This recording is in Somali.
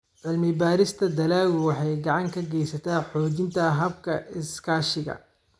Cilmi-baarista dalaggu waxay gacan ka geysataa xoojinta hababka iskaashiga.